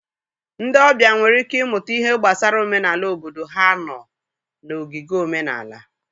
Ndị ọbịa nwere ike ịmụta ihe gbasara omenala obodo ha nọọ na ogige omenala.